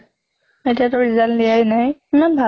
এতিয়া টো result দিয়াই নাই, ইমান ভালো